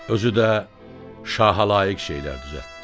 Özü də şaha layiq şeylər düzəltdi.